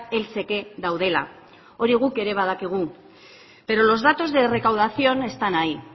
heltzeke daudela hori guk ere badakigu pero los datos de recaudación están ahí